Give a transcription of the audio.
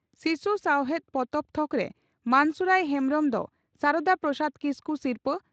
ᱥᱤᱥᱩ ᱥᱟᱶᱦᱮᱫ ᱯᱚᱛᱚᱵ ᱛᱷᱚᱠᱨᱮ ᱢᱟᱱᱥᱩᱨᱟᱹᱭ ᱦᱮᱢᱵᱽᱨᱚᱢ ᱫᱚ ᱥᱟᱨᱟᱫᱟ ᱯᱨᱚᱥᱟᱫᱽ ᱠᱤᱥᱠᱩ ᱥᱤᱨᱷᱟᱹ